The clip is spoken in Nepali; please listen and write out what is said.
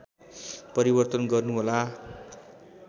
परिवर्तन गर्नु होला